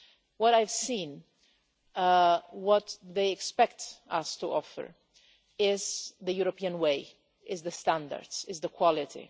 What I have seen, what they expect us to offer, is the European way, is the standards, is the quality.